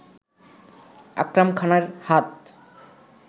আকরাম খানের হাত